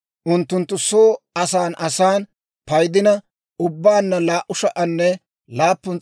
unttunttu soo asan asan paydina ubbaanna 2,750.